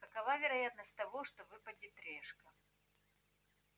какова вероятность того что выпадет решка